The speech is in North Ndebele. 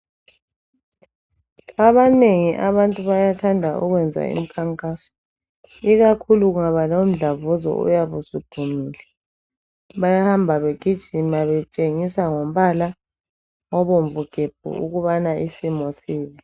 Abanengi abantu bayathanda ukwenza umkhankaso, ikakhulu kungaba lomdlavuzo oyabe usuphumile bayahamba begijima betshengisa ngombala obomvu gebhu ukubana isimo sibi.